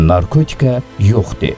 Narkotika yox de.